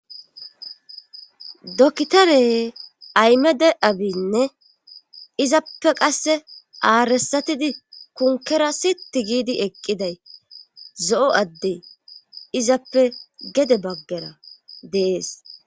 dokitare Ahmede abinne izappe qasse aaresatidi konkera sitti giidi eqqiday zo'o adde izappe gede baggara dees